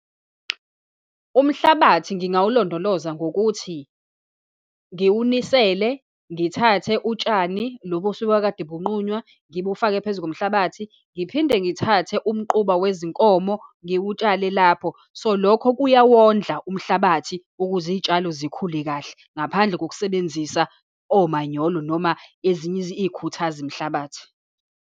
Umhlabathi ngingawulondoloza ngokuthi, ngiwunisele, ngithathe utshani lobu osuke kade bunqunywa ngibufake phezu komhlabathi, ngiphinde ngithathe umquba wezinkomo ngiwutshale lapho. So, lokho kuyawondla umhlabathi ukuze izitshalo zikhule kahle, ngaphandle kokusebenzisa omanyolo, noma ezinye izikhuthazi mhlabathi.